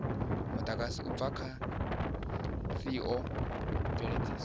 mudagasi u bva kha theomveledziso